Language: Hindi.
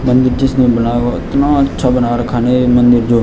इतना अच्छा बना रखा है न ये मंदिर जो।